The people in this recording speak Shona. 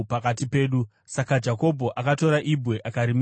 Saka Jakobho akatora ibwe akarimisa sembiru.